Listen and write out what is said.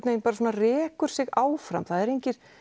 rekur þetta sig áfram það eru engir